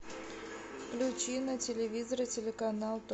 включи на телевизоре телеканал